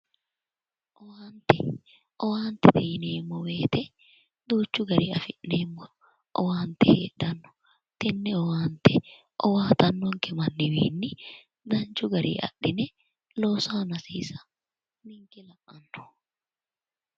Owaante. Owaantete yineemmo woyite duuchu gariyi afi'neemmo owaante heedhanno. Tenne owaante owaatannonke manniwiinni danchu gariyi adhine loosu aana hosiisa ninke la'anno.